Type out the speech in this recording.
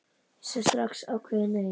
Ég sagði strax ákveðið nei.